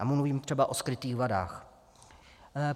A mluvím třeba o skrytých vadách.